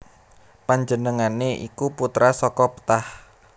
Panjenengané iku putra saka Ptah